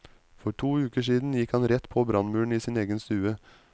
For to uker siden gikk han rett på brannmuren i sin egen stue.